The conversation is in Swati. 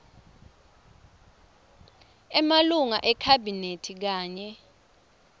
emalunga ekhabhinethi kanye